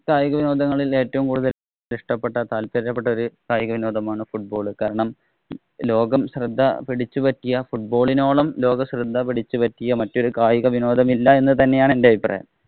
കായിക വിനോദങ്ങളില്‍ ഏറ്റവും ഇഷ്ടപ്പെട്ട കായികവിനോദമാണ് football. കാരണം, ലോകം ശ്രദ്ധ പിടിച്ചു പറ്റിയ football ഇനോളം ലോകശ്രദ്ധ പിടിച്ചുപറ്റിയ മറ്റൊരു കായിക വിനോദം ഇല്ലാ എന്ന് തന്നെയാണ് എന്‍റെ അഭിപ്രായം.